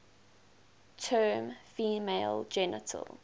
term female genital